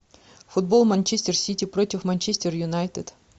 футбол манчестер сити против манчестер юнайтед